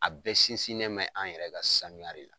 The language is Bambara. A bɛɛ sinsin mɛ an yɛrɛ ka sanuya de la.